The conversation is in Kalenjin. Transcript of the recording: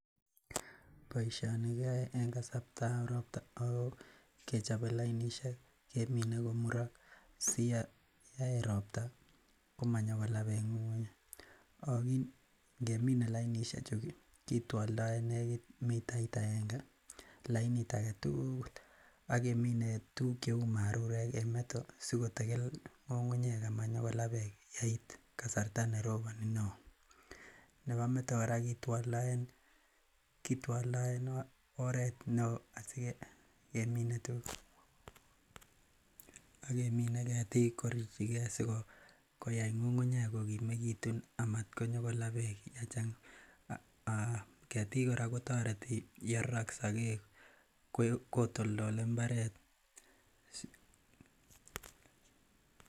Boisioni kiyoe en kasartab ropta ako kechobe lainishek kemine komurok si yeit ropta komanyokolaa beek ng'ung'unyek ako ngemine lainishek chuu kitwoldoen nekit mitait agenge lainit agetukul akemine tuguk cheu marurek en meto sikotikil ng'ung'unyek amanyokolaa beek yeit kasarta neroboni neoo, nebo meto kora kitwoldoen kitwoldoen oret neoo asikemine tuguk akemine ketik kurutyigee asikoyai ng'ung'unyek kokimekitun amatkonyokolaa beek yechang'a um ketik kora kotoreti yerorok sogek kotoltole mbaret.